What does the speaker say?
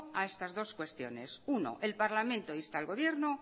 a estas dos cuestiones en el punto uno el parlamento insta al gobierno